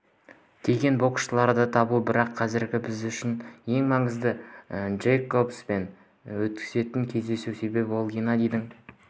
деген боксшыларды табу бірақ қазір біз үшін ең маңыздысы джейкобспен өтетін кездесу себебі ол геннадийдің